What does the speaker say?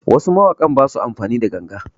Wasu mawakan basu amfani da ganga